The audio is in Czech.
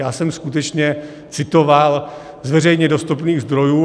Já jsem skutečně citoval z veřejně dostupných zdrojů.